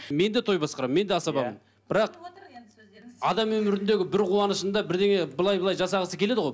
мен де той басқарамын мен де асабамын бірақ адам өміріндегі бір қуанышында бірдеңе былай былай жасағысы келеді ғой